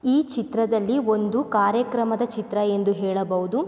ಈ ಚಿತ್ರದಲ್ಲಿ ಒಂದು ಕಾರ್ಯಕ್ರಮದ ಚಿತ್ರ ಎಂದು ಹೇಳಬಹುದು.